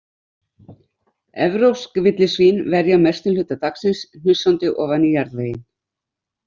Evrópsk villisvín verja mestum hluta dagsins hnusandi ofan í jarðveginn.